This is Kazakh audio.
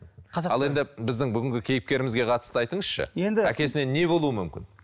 ал енді біздің бүгінгі кейіпкерімізге қатысы айтыңызшы енді әкесіне не болуы мүмкін